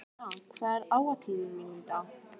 Móna, hvað er á áætluninni minni í dag?